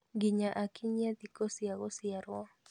Nginya akinyie thikũ cia gũciarwo